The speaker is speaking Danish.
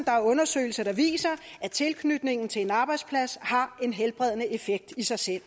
er undersøgelser der viser at tilknytningen til en arbejdsplads har en helbredende effekt i sig selv